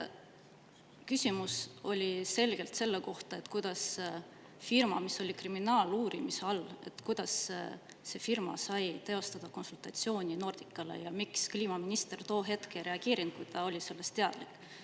Küsimus oli selgelt selle kohta, kuidas firma, mis oli kriminaaluurimise all, sai teostada konsultatsiooni Nordicale ja miks kliimaminister too hetk ei reageerinud, kui ta oli sellest teadlik.